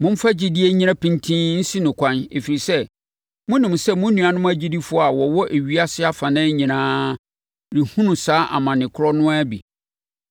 Momfa gyidie nnyina pintinn nsi no ɛkwan ɛfiri sɛ, monim sɛ mo nuanom agyidifoɔ a wɔwɔ ewiase afanan nyinaa rehunu saa amane korɔ no ara bi.